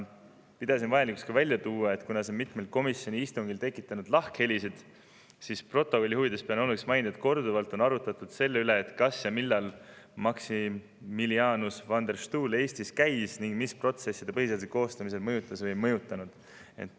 Kuna see on mitmel komisjoni istungil tekitanud lahkhelisid, siis protokolli huvides pean oluliseks mainida, et korduvalt on arutatud selle üle, kas millal Maximilianus van der Stoel Eestis käis ning millist protsessi ta põhiseaduse koostamisel mõjutas ja mida ei mõjutanud.